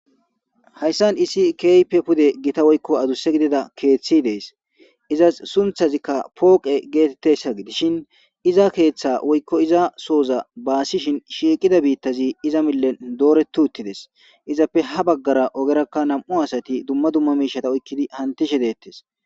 hayssan isi keype pude gita woykko adusse gidida keeththi dees izas sunthazikka pooqe geetettessa gidishin iza keeththa woykko iza sooza baasishin shiiqida biittazi iza millen dooretu uttides izappe ha baggara ogerakka nam7u asati dumma dumma miishata oykkidi hantishe deettes